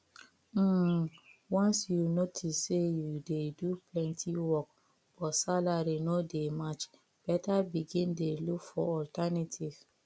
um once you notice say you dey do plenty work but salary no dey match better begin dey look for alternative